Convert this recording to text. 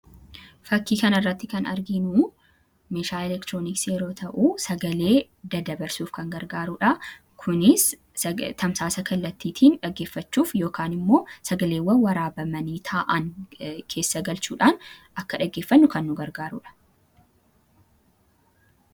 fakkii kanirratti kan argiinuu meeshaa elektirooniks yeroo ta'u sagalee dada barsuuf kan gargaaruudha kunis tamsaasa kallattiitiin dhaggeeffachuuf ykaan immoo sagaleewwan waraabamanii taa'an keessa galchuudhaan akka dhaggeeffannu kan nu gargaaruudha